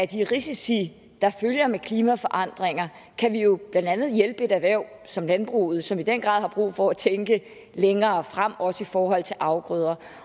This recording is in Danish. de risici der følger med klimaforandringer kan vi jo blandt andet hjælpe et erhverv som landbruget som i den grad har brug for at tænke længere frem også i forhold til afgrøder